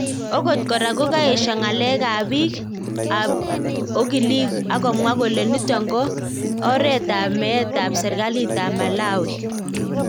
Okot kora ko kaesha ngalek ap pik ap okilik akomwa kole niton ko eret ap met ap serkalit ap malawi